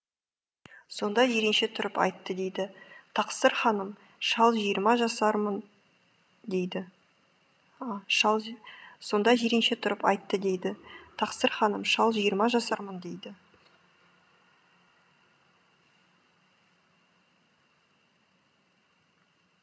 сонда жиренше тұрып айтты дейді тақсыр ханым шал жиырма жасармын дейді сонда жиренше тұрып айтты дейді тақсыр ханым шал жиырма жасармын дейді